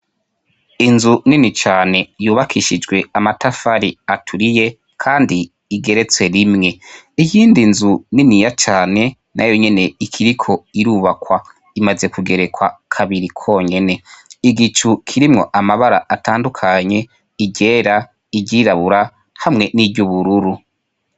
Inzu nini cane yubakishijwe amatafari aturiye kandi igeretse rimwe, iyindi nzu niniya cane nayo nyene ikiriko irubakwa imaze kugerekwa kabiri konyene, igicu kirimwo amabara atandukanye iryera ; iryirabura hamwe niry'ubururu.